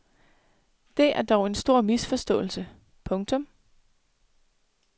Det er dog en stor misforståelse. punktum